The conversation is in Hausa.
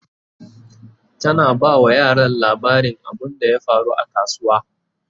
tana ba wa yaran labarin abunda ya faru a kasuwa